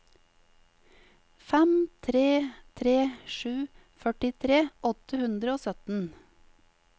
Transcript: fem tre tre sju førtitre åtte hundre og sytten